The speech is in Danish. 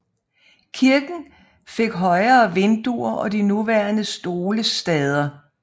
Kirken fik højere vinduer og de nuværende stolestader